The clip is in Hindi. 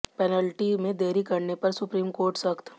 पेनल्टी में देरी करने पर सुप्रीम कोर्ट सख्त